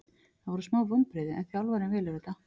Það voru smá vonbrigði en þjálfarinn velur þetta.